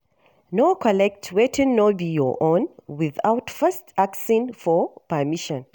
No collect wetin no be your own without first asking for permission